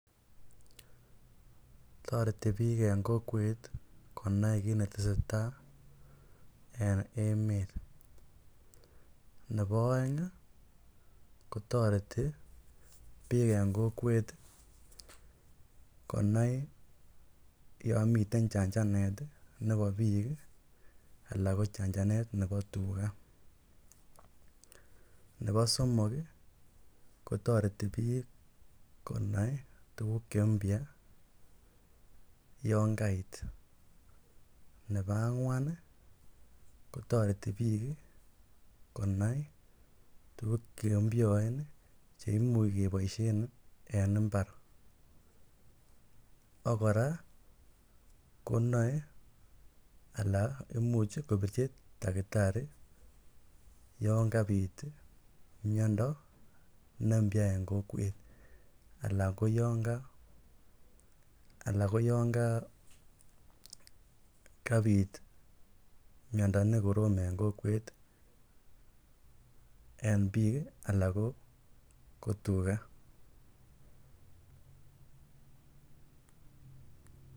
Taretii eng kokwet konai kiit ne tesetai eng emet nebo aeng ii kotaretii ii biik eng kokwet konai yamiteen changanet nebo biik ii anan ko changanet nebo tugaah nebo somok kotaretii biik konai tuguuk che mpya yaan kait nebo angween ii kotaretii biik konai tuguuk che mypyaen cheimuuch kebaisheen eng mbar ak kora konae anan imuuch kobirjii dakitarii yaan kabiit miando ne mpya en kokwet anan ko yaan kaa kabiit miando ne korom eng kokwet eng biik anan ko tugaah.